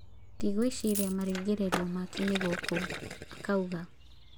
" Ndigũĩciria marigĩrĩrio make nĩ gũkũ, " akauga.